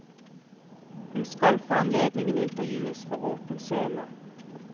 Hun skal for anledningen intervjues for åpen scene.